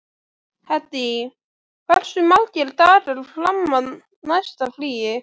Hedí, hversu margir dagar fram að næsta fríi?